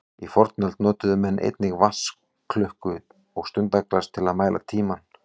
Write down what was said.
Í fornöld notuðu menn einnig vatnsklukku og stundaglas til að mæla tímann.